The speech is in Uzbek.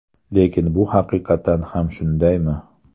Lekin bu haqiqatan ham shundaymi?